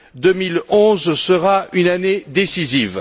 2011 sera une année décisive.